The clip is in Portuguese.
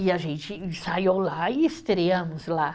E a gente ensaiou lá e estreamos lá.